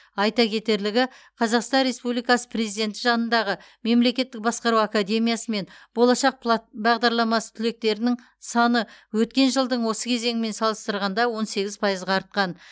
айта кетерілігі қазақстан республикасы президенті жанындағы мемлекеттік басқару академиясы мен болашақ плат бағдарламасы түлектерінің саны өткен жылдың осы кезеңімен салыстырғанда он сегіз пайызға артқан